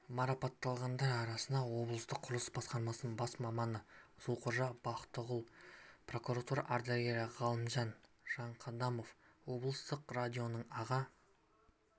марапатталғандар арасында облыстық құрылыс басқармасының бас маманы зұлқожа бақтығұл прокуратура ардагері ғалымжан жанқадамов облыстық радионың аға